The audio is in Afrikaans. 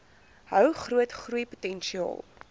hou groot groeipotensiaal